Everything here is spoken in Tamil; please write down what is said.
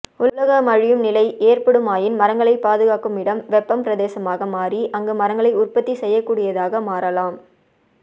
உலகம் அழியும் நிலை ஏற்படுமாயின் மரங்களை பாதுகாக்கும் இடம் வெப்ப பிரதேசமாக மாறி அங்கு மரங்களை உற்பத்தி செய்யகூடியதாக மாறலாம்